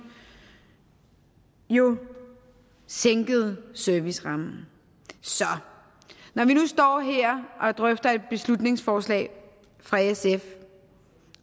jo sænkede servicerammen så når vi nu står her og drøfter et beslutningsforslag fra sf